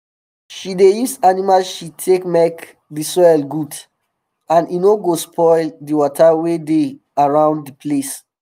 she dey use animal shit take make di soil good and e no go spoil di water wey dey um around di place